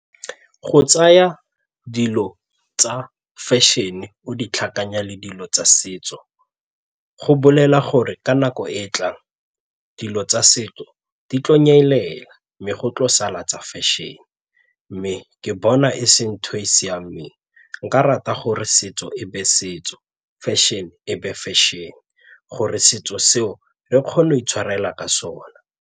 Go tsaya dilo tsa fashion-e o di tlhakanya le dilo tsa setso go bolela gore ka nako e e tlang dilo tsa setso di tlo nyelela mme go tlo sala tsa fashion mme ke bona e seng ntho e e siameng nka rata gore setso e be setso fashion-e e be fešene gore setso seo re kgona go itshwarela ka sona.